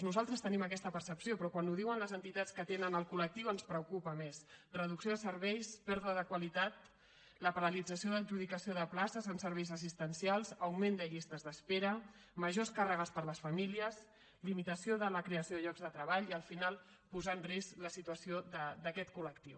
nosaltres tenim aquesta percepció però quan ho diuen les entitats que atenen el collectiu ens preocupa més reducció de serveis pèrdua de qualitat la paralització d’adjudicació de places amb serveis assistencials augment de llistes d’espera majors càrregues per a les famílies limitació de la creació de llocs de treball i al final posar en risc la situació d’aquest col·lectiu